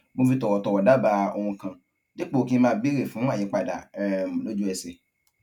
mo fi tòwòtòwò dábàá ohun kan dípò kí n máa béèrè fún àyípadà um lójú ẹsè